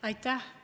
Aitäh!